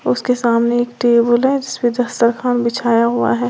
उसके सामने एक टेबुल है जिसपे बिछाया हुआ है।